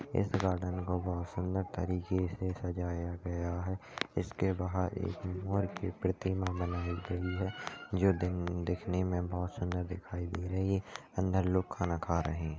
इस गार्डन को बहुत सुंदर तरीके से सजाया गया है इसके बाहर एक मोर की प्रतिमा बनाई गई है जो दिख दिखने मे बहुत सुंदर दिखाई दे रही है अंदर लोग खाना खा रहे है।